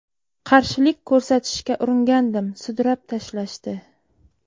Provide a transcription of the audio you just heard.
Qarshilik ko‘rsatishga uringandim, sudrab tashlashdi.